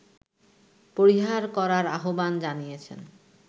পরিহার করার আহ্বান জানিয়েছে